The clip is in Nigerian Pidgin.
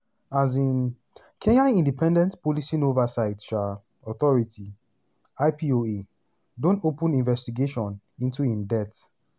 um kenya independent policing oversight um authority (ipoa) don open investigation into im death